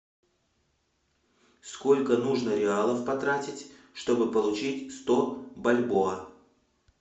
сколько нужно реалов потратить чтобы получить сто бальбоа